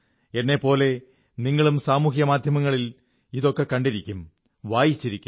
എന്നെപ്പോലെ നിങ്ങളും സാമൂഹ്യമാധ്യമങ്ങളിൽ ഇതൊക്കെ കണ്ടിരിക്കും വായിച്ചിരിക്കും